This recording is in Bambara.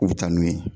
U bɛ taa n'u ye